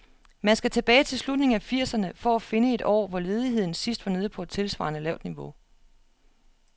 Man skal tilbage til slutningen af firserne for at finde et år, hvor ledigheden sidst var nede på et tilsvarende lavt niveau.